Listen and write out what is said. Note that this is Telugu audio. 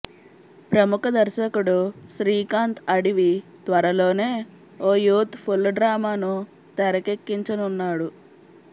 ప్రముఖ దర్శకుడు శ్రీకాంత్ అడివి త్వరలోనే ఓ యూత్ ఫుల్ డ్రామాను తెరకెక్కించనున్నాడు